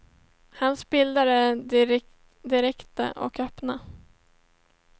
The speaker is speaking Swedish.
Hans bilder är direkta och öppna.